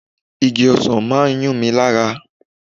Igi ọsan máa ń yún mi lára.